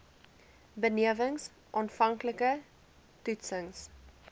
benewens aanvanklike toetsings